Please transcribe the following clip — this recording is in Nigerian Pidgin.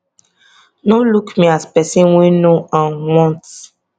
no look me as pesin wey no um want